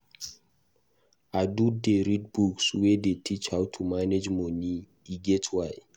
I do dey read books wey dey teach how to manage money, e get why.